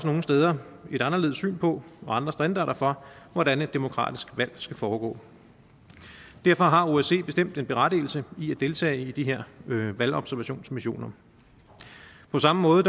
nogle steder et anderledes syn på og andre standarder for hvordan et demokratisk valg skal foregå derfor har osce bestemt en berettigelse i at deltage i de her valgobservationsmissioner på samme måde